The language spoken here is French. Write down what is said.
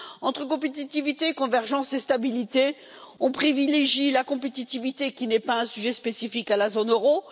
Entre compétitivité, convergence et stabilité, on privilégie la compétitivité, qui n'est pas un sujet spécifique à la zone euro.